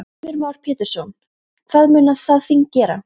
Heimir Már Pétursson: Hvað mun það þing gera?